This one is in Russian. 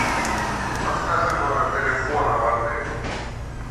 подскажи номер телефона в отеле